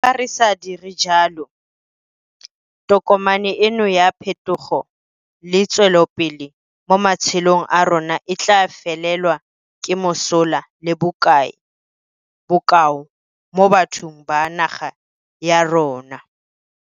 Fa re sa dire jalo, tokomane eno ya phetogo le tswelopele mo matshelong a rona e tla felelwa ke mosola le bokao mo bathong ba naga ya rona.